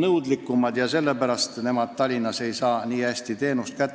nõudlikumad ja sellepärast nad leiavad, et Tallinnas ei saa nii hästi teenust kätte.